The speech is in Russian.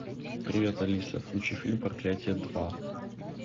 привет алиса включи фильм проклятие два